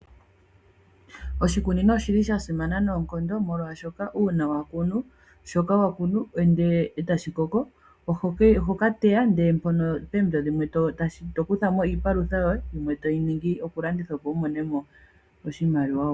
Oshikunino osha simana noonkondo . Molwaashoka uuna wa kunu shoka wa kunu ndele eta shi koko . Oho ka teya eto kutha mo iipalutha yoye . Yimwe toyi landitha opo wu mone mo iimaliwa.